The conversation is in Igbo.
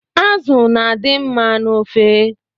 Azụ na-adị mma n’ofe